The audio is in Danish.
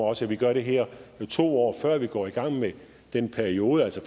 også at vi gør det her to år før vi går i gang med den periode altså